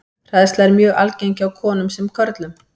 Hræðsla er mjög algeng hjá konum sem körlum.